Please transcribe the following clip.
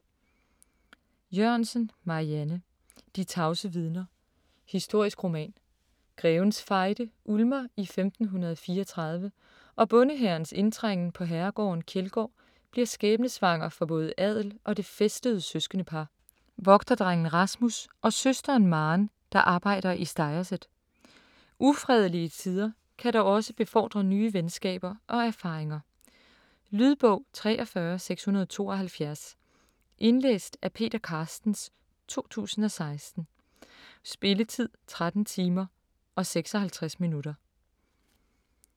Jørgensen, Marianne: De tavse vidner: historisk roman Grevens Fejde ulmer i 1534, og bondehærens indtrængen på herregården Kjeldgaard bliver skæbnesvanger for både adel og det fæstede søskendepar: vogterdrengen Rasmus og søsteren Maren der arbejder i stegerset. Ufredelige tider kan dog også befordre nye venskaber og erfaringer. Lydbog 43672 Indlæst af Peter Carstens, 2016. Spilletid: 13 timer, 56 minutter.